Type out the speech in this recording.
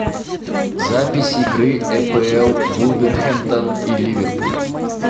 запись игры апл вулверхэмптон и ливерпуль